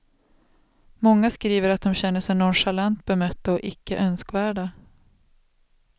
Många skriver att de känner sig nonchalant bemötta eller icke önskvärda.